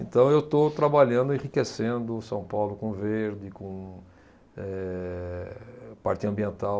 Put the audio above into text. Então, eu estou trabalhando, enriquecendo São Paulo com verde, com eh, parte ambiental,